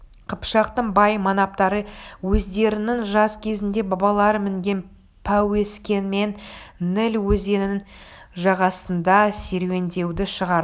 қыпшақтың бай манаптары өздерінің жас кезінде бабалары мінген пәуескемен ніл өзенінің жағасында серуендеуді шығарды